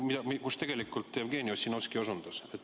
Ma jätkan sealt, millele Jevgeni Ossinovski osutas.